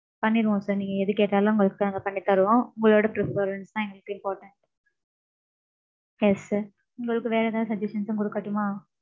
பண்ணிருவோம் sir. நீங்க எது கேட்டாலும், உங்களுக்கு நாங்க பண்ணித் தருவோம். உங்களோட preference தான், எங்களுக்கு importantance yes sir உங்களுக்கு வேற எதாவது suggestions உம் கொடுக்கட்டுமா